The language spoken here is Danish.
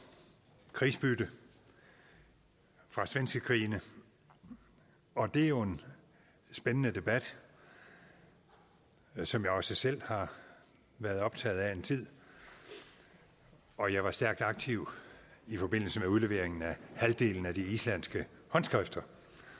krigsbytte fra svenskekrigene det er jo en spændende debat som jeg også selv har været optaget af en tid og jeg var stærkt aktiv i forbindelse med udleveringen af halvdelen af de islandske håndskrifter